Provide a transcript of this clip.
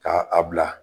Ka a bila